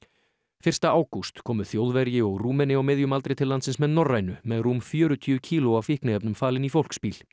fyrsta ágúst komu Þjóðverji og Rúmeni á miðjum aldri til landsins með Norrænu með rúm fjörutíu kíló af fíkniefnum falin í fólksbíl